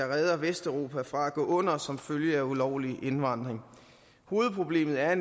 redder vesteuropa fra at gå under som følge af ulovlig indvandring hovedproblemet er